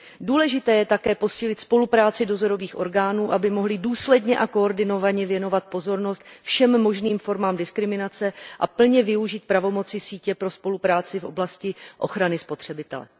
Důležité je také posílit spolupráci dozorových orgánů, aby mohly důsledně a koordinovaně věnovat pozornost všem možným formám diskriminace a plně využít pravomocí sítě pro spolupráci v oblasti ochrany spotřebitele.